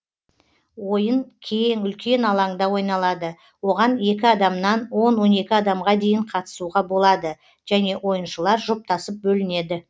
ойын кең үлкен алаңда ойналады оған екі адамнан он он екі адамға дейін қатысуға болады және ойыншылар жұптасып бөлінеді